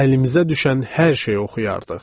Əlimizə düşən hər şey oxuyardıq.